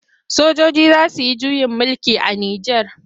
Sojoji za su yi juyin mulki a Nijar.